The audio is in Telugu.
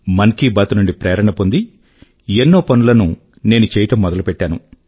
మన్ కీ బాత్ నుండి ప్రేరణ పొంది ఎన్నో పనుల ను నేను చేయడం మొదలు పెట్టాను